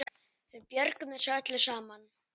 Við björgum þessu öllu saman.